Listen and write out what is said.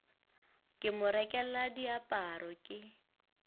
ke mo rekela diaparo ke